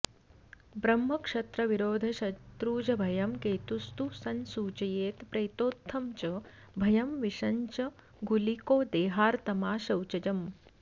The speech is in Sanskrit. ब्रह्मक्षत्रविरोधशत्रुजभयं केतुस्तु संसूचयेत् प्रेतोत्थं च भयं विषं च गुलिको देहार्तमाशौचजम्